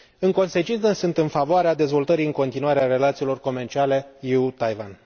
În consecință, sunt în favoarea dezvoltării în continuare a relațiilor comerciale UE Taiwan.